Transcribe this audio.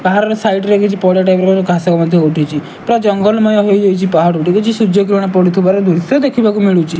ପାହାଡ ସାଇଡରେ କିଛି ପଡ଼ିଆ ଟାଇପର କିଛି ଘାସ ମଧ୍ୟ କିଛି ଉଠିଛି ପୁରା ଜଙ୍ଗଲମୟ ହୋଇଯାଛି ପାହାଡ ଟି କିଛି ସୁଯ୍ୟ କିରଣ ପଡୁଥିବାର ଦୃଶ୍ଯ ଦେଖିବାକୁ ମିଳୁଚି।